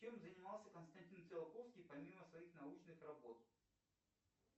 чем занимался константин циолковский помимо своих научных работ